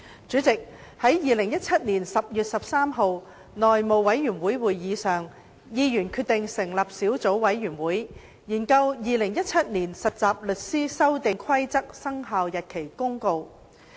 主席，在2017年10月13日內務委員會會議上，議員決定成立小組委員會，研究《〈2017年實習律師規則〉公告》。